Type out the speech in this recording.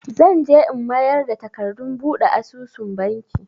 Zan je in mayar da takardun buɗe asusun Banki.